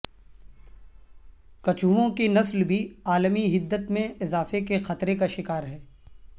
کچھووں کی نسل بھی عالمی حدت میں اضافے کے خطرے کا شکار ہے